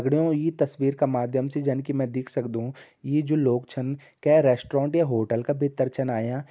दगड़ियों ईं तस्वीर क माध्यम से जन कि मैं दिख सक्दूं यी जो लोग छन कै रैशट्रौंट या होटल क भित्तर छन आयां।